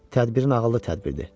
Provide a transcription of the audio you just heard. Tədbirin ağıllı tədbirdir.